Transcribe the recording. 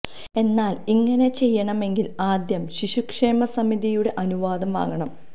എന്നാല് ഇങ്ങനെ ചെയ്യണമെങ്കില് ആദ്യം ശിശു ക്ഷേമ സമിതിയുടെ അനുവാദം വാങ്ങണം